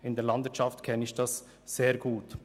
Ich kenne dies aus der Landwirtschaft sehr gut.